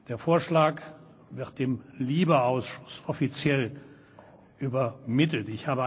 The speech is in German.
Der Vorschlag wird dem LIBE Ausschuss offiziell übermittelt.